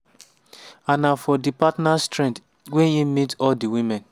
an na for di partners thread wey e meet all of di women.